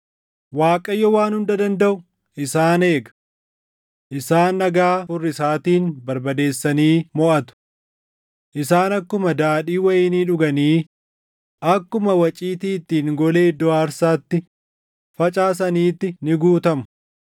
Waaqayyo Waan Hunda Dandaʼu isaan eega. Isaan dhagaa furrisaatiin barbadeessanii moʼatu. Isaan akkuma daadhii wayinii dhuganii akkuma waciitii ittiin golee iddoo aarsaatti facaasaniitti ni guutamu.